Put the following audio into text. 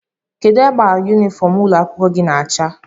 Kedụ agba yunifọm ụlọ akwụkwọ gị na acha?